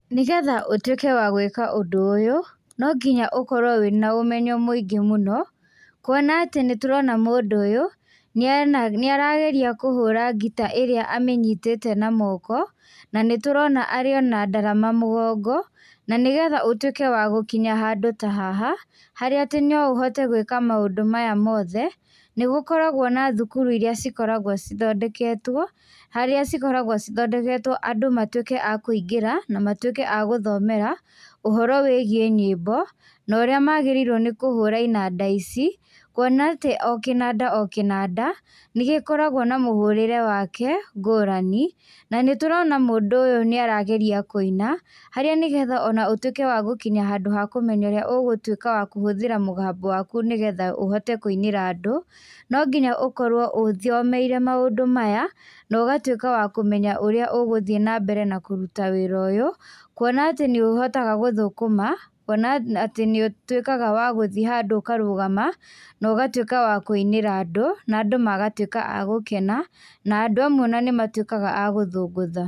Nĩgetha ũtuĩke wa gũĩka ũndũ ũyũ, nonginya ũkorwo wĩna ũmenyo mũingĩ mũno, kuona atĩ nĩtũrona mũndũ ũyũ, niena nĩarageria kũhũra ngita ĩrĩa amĩnyitĩte na moko, na nĩtũrona arĩ ona ndarama mũgongo, na nĩgethe ũtuike wa gũkinya handũ ta haha, harĩa atĩ no ũhote gwĩka maũndũ maya mothe, nĩgũkoragwo na thukuru iria cikoragwo cithondeketwo, harĩa cikoragwo cithondeketwo andũ matuĩke a kũingĩra, na matuĩke a gũthomera, ũhoro wĩgie nyĩmbo, no ũrĩa magĩrĩirwo nĩ kũhũra inanda ici, kuona atĩ o kĩnanda o kĩnada, nĩgĩkoragwo na mũhũrĩre wake ngũrani, na nĩtũrona mũndũ ũyũ nĩarageria kũina, harĩa nĩgetha ona ũtuĩke wa gũkinya handũ ha kũmenya ũrĩa ũgũtuika wa kũhũthĩra mũgambo waku nĩgetha ũhote kũinĩra andũ, no nginya ũkorwo ũthomeire maũndũ maya, na ũgatuĩka wa kũmenya ũrĩa ũgũthiĩ nambere na kũruta wĩra ũyũ, kuona atĩ nĩũhotaga gũthũkũma, ona atĩ nĩũtuĩkaga wa gũthiĩ handũ ũkarũgamma, na ũgatuĩka wa kũinĩra andũ, na andũ magatuĩka a gũkena, na andũ amwe ona nĩ matuĩkaga a gũthũngũtha.